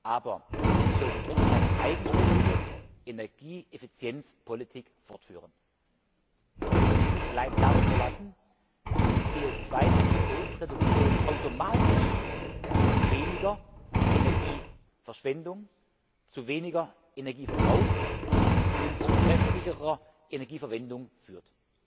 Aber wir sollten trotzdem eine eigenständige Energieeffizienzpolitik fortführen und uns nicht allein darauf verlassen, dass die CO 2 Emissionsreduktion automatisch zu weniger Energieverschwendung, zu weniger Energieverbrauch und zu treffsicherer Energieverwendung führt.